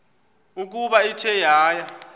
ukuba ithe yaya